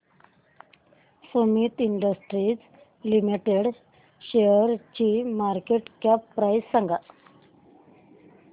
Sumeet industries limited शेअरची market cap price सांगा